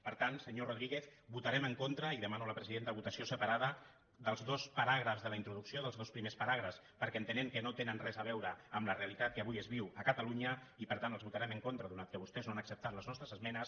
per tant senyor rodríguez votarem en contra i en demano a la presidenta votació separada dels dos paràgrafs de la introducció dels dos primers paràgrafs perquè entenem que no tenen res a veure amb la realitat que avui es viu a catalunya i per tant els votarem en contra atès que vostès no han acceptat les nostres esmenes